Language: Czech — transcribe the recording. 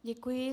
Děkuji.